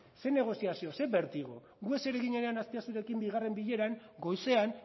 ze negoziazio ze bertigo gu eseri ginenean azpiazurekin bigarren bileran goizean